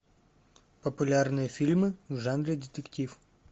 популярные фильмы в жанре детектив